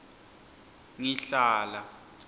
ngihlala